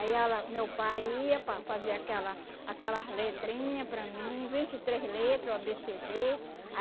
ela meu pai ia para fazer aquelas aquelas letrinha para mim, vinte e três letra, o á bê cê dê